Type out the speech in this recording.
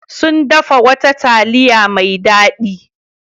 Sun dafa wata taliya mai dadi.